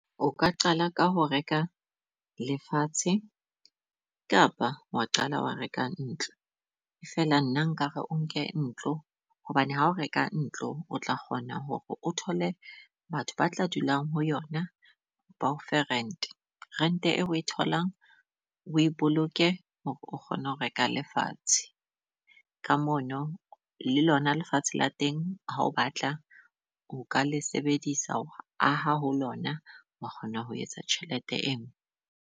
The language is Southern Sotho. O ka qala ka ho reka lefatshe kapa wa qala wa reka ntlo. Feela nna nkare o nke ntlo hobane ha o reka ntlo o tla kgona hore o thole batho ba tla dulang ho yona ba ofe rent-e, rent-e eo o e tholang o e boloke hore o kgone ho reka lefatshe. Ka mono le lona lefatshe la teng ha o batla, o ka le sebedisa ho aha ho lona wa kgona ho etsa tjhelete eno.